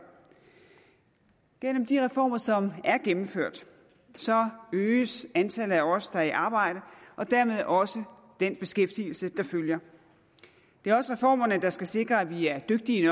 gennem de reformer som er gennemført øges antallet af os der er i arbejde og dermed også den beskæftigelse der følger det er også reformerne der skal sikre at vi er dygtige